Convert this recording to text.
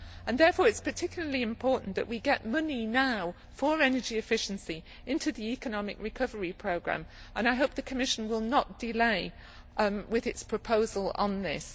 Therefore, it is particularly important that we now get money for energy efficiency into the economic recovery programme, and I hope the Commission will not delay with its proposal on this.